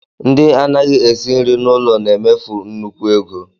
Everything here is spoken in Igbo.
Ndị anaghị esi nri n'ụlọ na-emefu nnukwu ego